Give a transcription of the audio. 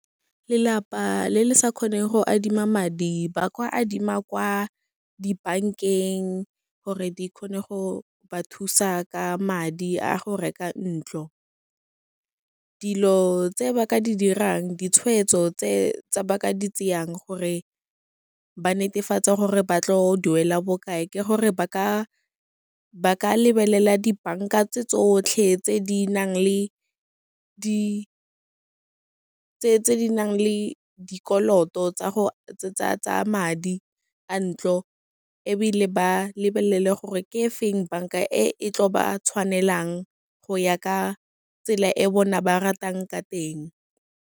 Lelapa le le sa kgoneng go adima madi, ba ka adima kwa dibankeng gore di kgone go ba thusa ka madi a go reka ntlo. Dilo tse ba ka di dirang, ditshweetso tse ba ka di tseyang gore ba netefatse gore ba tlo duela bokae, ke gore ba ka lebelela dibanka tse tsotlhe tse di nang le dikoloto tsa madi a ntlo, ebile ba lebelele gore ke e feng banka e e tlo ba tshwanelang go ya ka tsela e bona ba ratang ka teng.